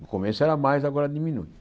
No começo era mais, agora diminui.